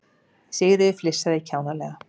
Sigríður flissaði kjánalega.